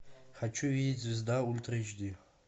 хочу видеть звезда ультра эйч ди